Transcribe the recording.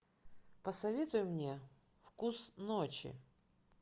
посоветуй мне вкус ночи